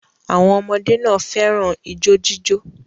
Àwọn ọmọdé náà fẹ́ràn ijó jíjó.